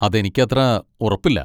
അതെനിക്കത്ര ഉറപ്പില്ല.